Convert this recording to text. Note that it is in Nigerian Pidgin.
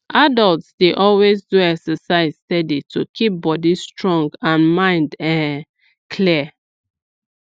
adults dey always do exercise steady to keep body strong and mind um clear